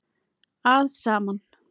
að saman.